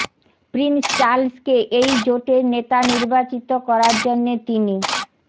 Prince চার্লসকে এই জোটের নেতা নির্বাচিত করার জন্যে তিনি